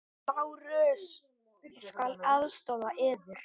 LÁRUS: Ég skal aðstoða yður.